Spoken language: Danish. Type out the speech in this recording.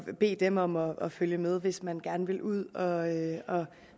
bede dem om at følge med hvis man gerne ville ud og